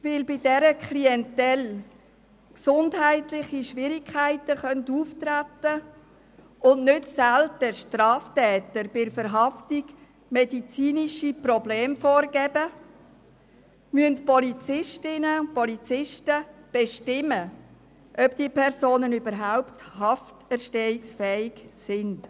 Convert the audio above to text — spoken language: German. Weil bei dieser Klientel gesundheitliche Schwierigkeiten auftreten können und Straftäter bei der Verhaftung nicht selten medizinische Probleme vorgeben, müssen Polizistinnen und Polizisten bestimmen, ob diese Personen überhaupt hafterstehungsfähig sind.